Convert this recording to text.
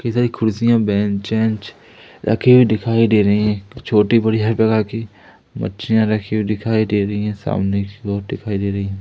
काफी सारी कुर्सियां बेंच वेंच रखी हुई दिखाई दे रही हैं छोटी बड़ी हर प्रकार की मछलियां रखी हुई दिखाई दे रही हैं सामने की ओर दिखाई दे रही हैं।